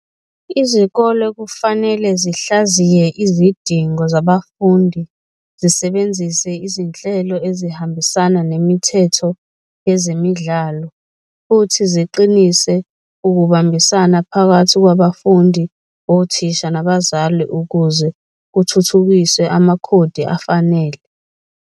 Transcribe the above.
Izikole kufanele zihlaziye izidingo zabafundi, zisebenzise izinhlelo ezihambisana nemithetho yezemidlalo futhi ziqinise ukubambisana phakathi kwabafundi, othisha nabazali ukuze kuthuthukiswe amakhodi afanele.